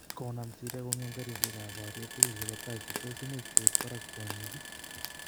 Koinam syria kongem karisiek ap poriet tugul chepo turkey tos imuch koit parak kwonyik iih?